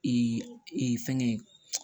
e fɛngɛ ye